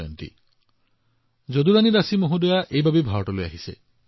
এই সন্দৰ্ভত যদুৰাণী দাসী জী ভাৰতলৈ আহিছিল